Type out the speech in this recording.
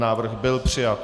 Návrh byl přijat.